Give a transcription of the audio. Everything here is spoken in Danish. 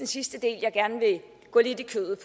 sidste del jeg gerne vil gå lidt i kødet